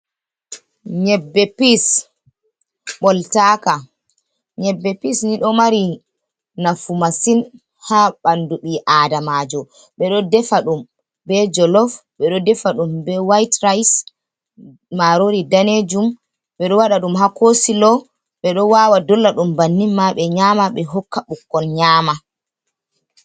Nyebbe bins boltaka, nyebbe bins ni ɗo mari nafu masin ha ɓandu bii adamajo, ɓeɗo defa ɗum be jellof, ɓe ɗo defa ɗum be wait rise marorio danejum, ɓeɗo wada ɗum ha coslo, ɓeɗo wawa dolla ɗum banni ma ɓe nyama ɓe hokka ɓikkon nyama.